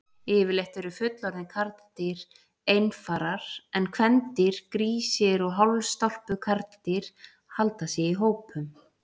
Yfirleitt eru fullorðin karldýr einfarar en kvendýr, grísir og hálfstálpuð karldýr, halda sig í hópum.